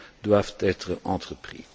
doivent être entrepris.